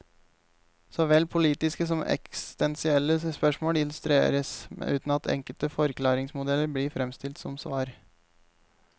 Såvel politiske som eksistensielle spørsmål illustreres, uten at enkle forklaringsmodeller blir fremstilt som svar.